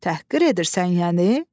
Təhqir edirsən yəni?